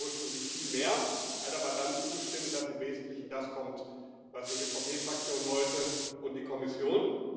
Er wollte ursprünglich viel mehr, hat aber dann zugestimmt, dass im Wesentlichen das kommt, was die EVP Fraktion wollte und die Kommission.